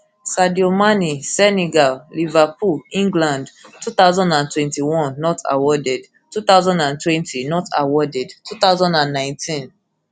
sadio man senegal senegal liverpool england two thousand and twenty-one not awarded two thousand and twenty not awarded two thousand and nineteen